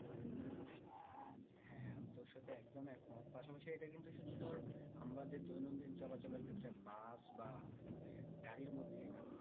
হ্যাঁ আমি তোর সাথে একদম এক মত পাশাপাশি এটা কিন্তু শুধু তোর আমরা যে দৈনন্দিন চলাচলের ক্ষেত্রে বাস বা মানে গাড়ির মধ্যেই না